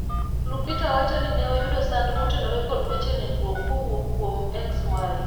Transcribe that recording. Lupita wacho ni ne oyudo sand motenore kod weche nindruok kowuok kuom Xy